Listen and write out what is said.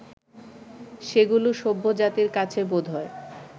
সেগুলি সভ্যজাতির কাছে বোধহয়